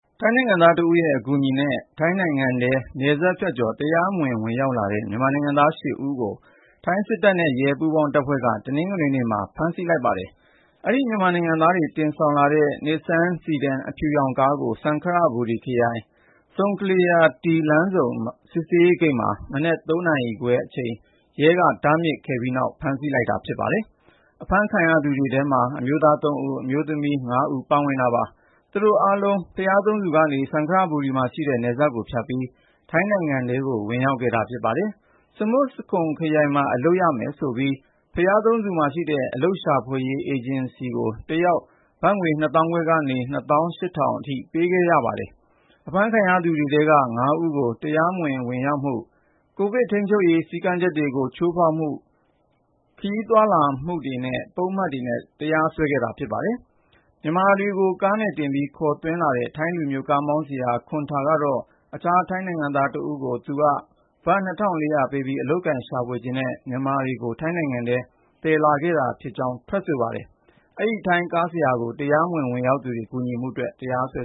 ထိုင်းနိုင်ငံသားတဦးရဲ့ အကူအညီနဲ့ ထိုင်းနိုင်ငံထဲ နယ်စပ်ဖြတ်ကျော် တရားမဝင် ဝင်ရောက်လာတဲ့ မြန်မာနိုင်ငံသား ၈ ဦးကို ထိုင်းစစ်တပ်နဲ့ ရဲ ပူးပေါင်းတပ်ဖွဲ့က တနင်္ဂနွေနေ့မှာ ဖမ်းဆီးလိုက်ပါတယ်။ အဲဒီ မြန်မာနိုင်ငံသားတွေ တင်ဆောင်လာတဲ့ Nissan sedan အဖြူရောင်ကားကို စံခရဘူရီခရိုင်၊ Song Kalia T လမ်းဆုံ စစ်ဆေးရေးဂိတ်မှာ မနက် ၃ နာရီခွဲအချိန် ရဲက တားမြစ်စစ်ဆေးခဲ့ပြီးနောက် ဖမ်းဆီးလိုက်တာ ဖြစ်ပါတယ်။ အဖမ်းခံရသူ မြန်မာတွေထဲမှာ အမျိုးသား ၃ ဦး၊ အမျိုးသမီး ၅ ဦး ပါဝင်တာပါ။ သူတို့အားလုံး ဘုရားသုံးဆူကနေ စံခရဘူရီမှာရှိတဲ့ နယ်စပ်ကိုဖြတ်ပြီး ထိုင်းနိုင်ငံထဲ ဝင်ရောက်ခဲ့တာ ဖြစ်ပါတယ်။ ဆမွတ်စခွန်ခရိုင်မှာ အလုပ်ရမယ်ဆိုပြီး ဘုရားသုံးဆူမှာရှိတဲ့ အလုပ်ရှာဖွေပေးရေး အေဂျင်စီကို တယောက် ဘတ်ငွေ ၂၅,၀၀၀ ကနေ ၂၈,၀၀၀ အထိ ပေးခဲ့ရတယ်လို့ ဆိုပါတယ်။ အဖမ်းခံရသူတွေထဲက ၅ ဦးကို တရားမဝင် ဝင်ရောက်မှု၊ ကိုဗစ်ထိန်းချုပ်ရေး စည်းကမ်းချက်တွေကို ချိုးဖောက်ပြီး ခရီးသွားလာမှု ပုဒ်မတွေနဲ့ တရားစွဲထားပါတယ်။ မြန်မာတွေကို ကားနဲ့တင်ပြီး ခေါ်သွင်းလာတဲ့ ထိုင်းလူမျိုး ကားမောင်းဆရာ Lamun Khuntha ကတော့ အခြား ထိုင်းနိုင်ငံသားတဦးကို သူက ဘတ် ၂,၄၀၀ ပေးပြီး အလုပ်ကိုင်ရှာဖွေချင်တဲ့ ဒီမြန်မာတွေကို ထိုင်းနိုင်ငံထဲ သယ်ဆောင်လာတာဖြစ်ကြောင်း ထွက်ဆိုပါတယ်။ ထိုင်းကားဆရာကိုလည်း တရားမဝင် ဝင်ရောက်သူတွေကို ကူညီမှုအတွက် တရားစွဲ